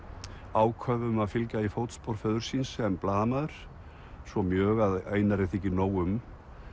áköf um að fylgja í fótspor föður síns sem blaðamaður svo mjög að Einari þykir nóg um